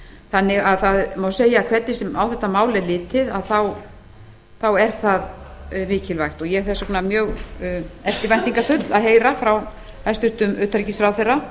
þannig að það má segja að hvernig sem á þetta mál er litið þá er það mikilvægt ég er þess vegna mjög eftirvæntingarfull að heyra frá hæstvirtum utanríkisráðherra